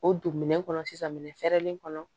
O don minɛn kɔnɔ sisan minɛ fɛrɛlen kɔnɔ